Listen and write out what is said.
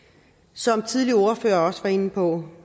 som tidligere ordførere også var inde på